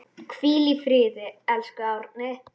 Hvíl í friði, elsku Árni.